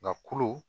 Nka kulu